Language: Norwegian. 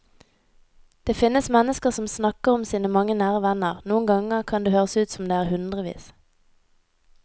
Det finnes mennesker som snakker om sine mange nære venner, noen ganger kan det høres ut som om det er hundrevis.